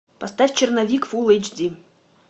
поставь черновик фул эйч ди